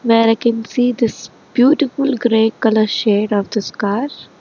where I can see this beautiful grey colour shade of this car.